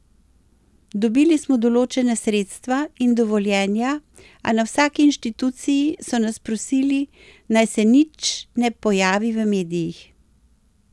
Dobili smo določena sredstva in dovoljenja, a na vsaki inštituciji so nas prosili, naj se nič ne pojavi v medijih.